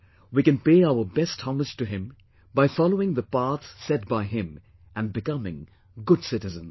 We can pay our best homage to him by following the path set by him and becoming good citizens